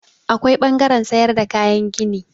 Akwai ɓangaren sayar da kayan gini.